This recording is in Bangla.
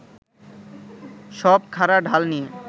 সব খাঁড়া ঢাল নিয়ে